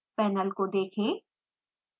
panel को देखें